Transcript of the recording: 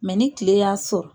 ni tile y'a .